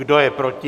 Kdo je proti?